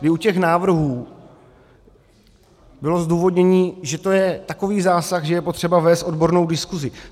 I u těch návrhů bylo zdůvodnění, že to je takový zásah, že je potřeba vést odbornou diskusi.